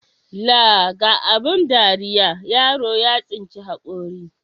Laa ga abun dariya, yaro ya tsinci haƙori.